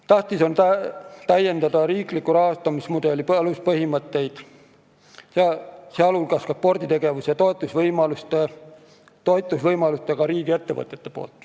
Tähtis on täiendada riikliku rahastamismudeli aluspõhimõtteid, sh võimalusi riigiettevõtetel sporditegevust toetada.